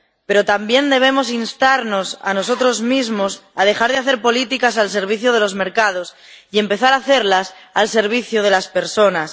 Pero también debemos instarnos a nosotros mismos a dejar de hacer políticas al servicio de los mercados y empezar a hacerlas al servicio de las personas.